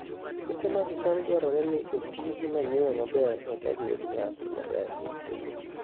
Puothe mag cham dwarore ni oti gi manyiwa maber eka giyud nyak maber